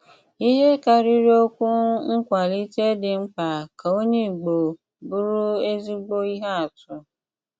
Íhé kárírí ókwù nkwálítè dí mkpà ká ónyè Ìgbò bụrụ ézígbò íhé àtụ́.